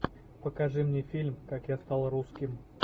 покажи мне фильм как я стал русским